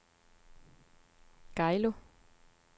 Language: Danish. Geilo